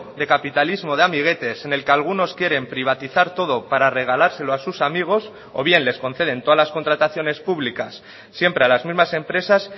de capitalismo de amiguetes en el que algunos quieren privatizar todo para regalárselo a sus amigos o bien les conceden todas las contrataciones públicas siempre a las mismas empresas